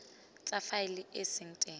tse faele e seng teng